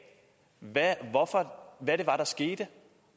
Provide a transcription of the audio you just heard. hvad det var der skete